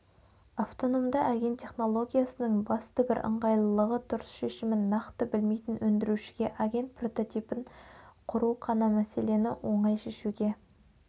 автономды агент технологиясының басты бір ыңғайлылығы дұрыс шешімін нақты білмейтін өндірушіге агент прототипін құрып қана мәселені оңай шешуге